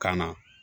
Kana